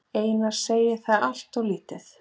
Einar segir það alltof lítið.